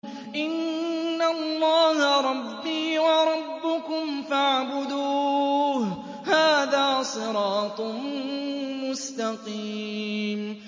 إِنَّ اللَّهَ رَبِّي وَرَبُّكُمْ فَاعْبُدُوهُ ۗ هَٰذَا صِرَاطٌ مُّسْتَقِيمٌ